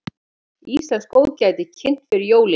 Íslenskt góðgæti kynnt fyrir jólin